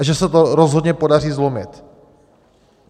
A že se to rozhodně podaří zlomit.